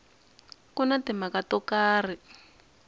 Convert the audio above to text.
ku na timhaka to karhi